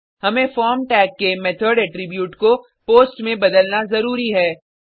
हमें form tag के method attribute को पोस्ट में बदलना ज़रूरी है